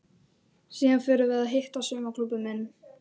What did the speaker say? Síðan förum við að hitta saumaklúbbinn minn.